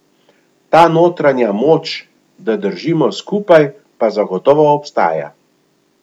Ta notranja moč, da držimo skupaj, pa zagotovo obstaja.